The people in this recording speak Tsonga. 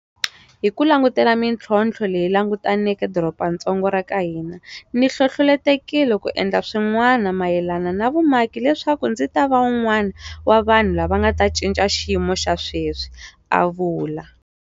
Hi ku languta mitlhontlho leyi langutaneke dorobatsongo ra ka hina, ni hlohlotelekile ku endla swin'wanama yelana na vumaki leswaku ndzi ta va un'wana wa vanhu lava nga ta cinca xiyimo xa sweswi, a vula.